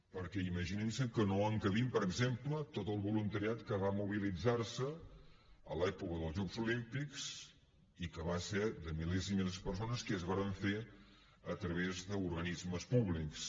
perquè imagininse que no encabim per exemple tot el voluntariat que va mobilitzarse a l’època dels jocs olímpics i que va ser de milers i milers de persones que es va fer a través d’organismes públics